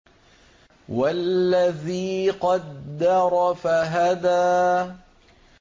وَالَّذِي قَدَّرَ فَهَدَىٰ